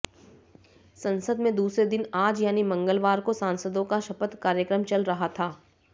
संसद में दूसरे दिन आज यानी मंगलवार को सांसदों का शपथ कार्यक्रम चल रहा था